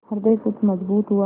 हृदय कुछ मजबूत हुआ